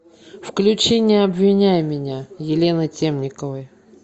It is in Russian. включи не обвиняй меня елены темниковой